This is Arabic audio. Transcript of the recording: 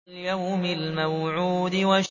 وَالْيَوْمِ الْمَوْعُودِ